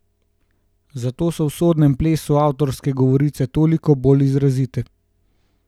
Zato so v sodobnem plesu avtorske govorice toliko bolj izrazite.